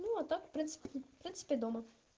ну а так в принципе в принципе дома